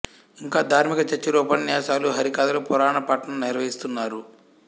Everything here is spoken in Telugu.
ఇంకా ధార్మిక చర్చలు ఉపన్యాసాలు హరికథలు పురాణ పఠనం నిర్వహిస్తారు